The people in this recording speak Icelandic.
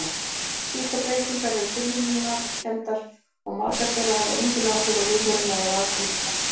Slíkar breytingar eru tilviljunarkenndar og margar þeirra hafa engin áhrif á lífveruna eða afkomendur hennar.